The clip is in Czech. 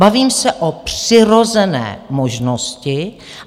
Bavím se o přirozené možnosti.